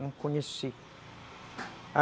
Não conheci.